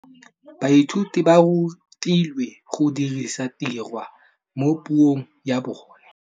Baithuti ba rutilwe go dirisa tirwa mo puong ya bone.